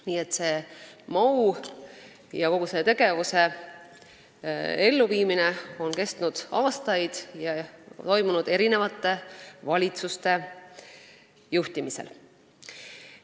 Nii et selle MoU elluviimine ja kogu see tegevus on kestnud aastaid ning on toimunud mitme valitsuse juhtimisel.